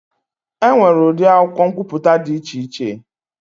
E nwere ụdị akwụkwọ nkwuputa dị iche iche.